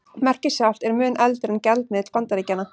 Merkið sjálft er mun eldra en gjaldmiðill Bandaríkjanna.